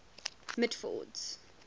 mitford's